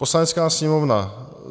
"Poslanecká sněmovna